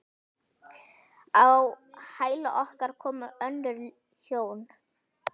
Á hæla okkar komu önnur hjón.